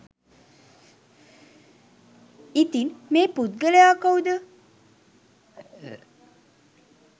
ඉතින් මේ පුද්ගලයා කවුද